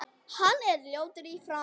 Hann er ljótur í framan.